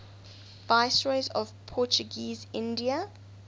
viceroys of portuguese india